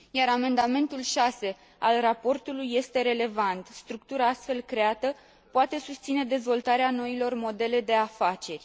Amendamentul 6 al raportului este relevant structura astfel creată poate susține dezvoltarea noilor modele de afaceri.